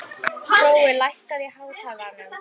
Hrói, lækkaðu í hátalaranum.